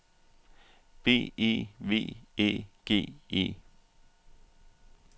B E V Æ G E